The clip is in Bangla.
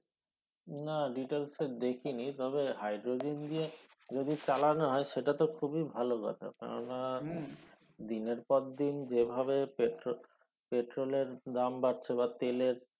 না details এ দেখি নি তবে hydrogen দিয়ে যদি চালানো হয় সেটা তো খুবি ভালো কথা কেনো না দিনের পর দিন যেভাবে পেট্রো~ পেট্রোল এর দাম বাড়ছে বা তেলের